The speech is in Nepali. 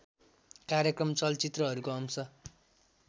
कार्यक्रम चलचित्रहरूको अंश